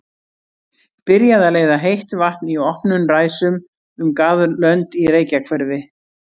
Byrjað að leiða heitt vatn í opnum ræsum um garðlönd í Reykjahverfi.